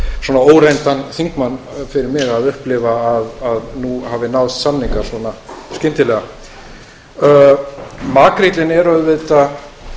svona óreyndan þingmann fyrir mig að upplifa að nú hafði náðst samningar svona skyndilega makríllinn er